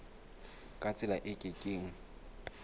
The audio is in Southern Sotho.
ka tsela e ke keng